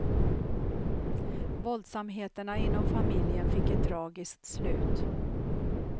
Våldsamheterna inom familjen fick ett tragiskt slut.